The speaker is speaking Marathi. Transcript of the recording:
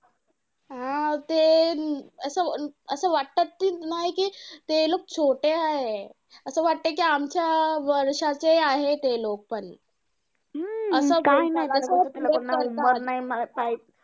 हा. ते असं असं वाटतं कि नाही कि ते लोकं छोटे आहेत. असं वाटतं कि आमच्या वर्षाचे आहे ते लोकं पण.